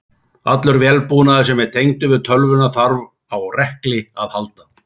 Allur vélbúnaður sem er tengdur við tölvuna þarf á rekli að halda.